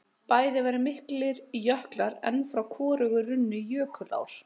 Bæði væru miklir jöklar en frá hvorugu runnu jökulár.